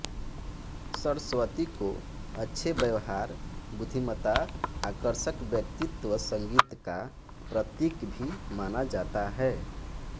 सरस्वती को अच्छे व्यवहार बुद्धिमत्ता आकर्षक व्यक्तित्व संगीत का प्रतीक भी माना जाता है